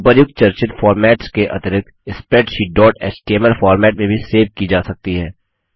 उपर्युक्त चर्चित फॉर्मेट्स के अतिरिक्त स्प्रैडशीट डॉट एचटीएमएल फॉर्मेट में भी सेव की जा सकती है